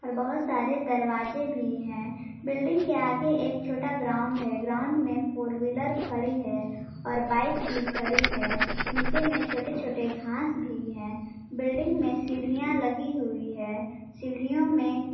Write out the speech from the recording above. और बहुत सारे दरवाजे भी है बिल्डिंग के आगे एक छोटा ग्राउंड है ग्राउंड में फोर व्हीलर खड़ी है और बाइक भी खड़ी है नीचे में छोटे छोटे घास भी है बिल्डिंग में सीढ़ियां लगी हुई है सीढियों में।